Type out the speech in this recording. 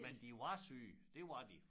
Men de var syge det var de